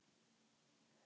en þakpiltur og þak þynna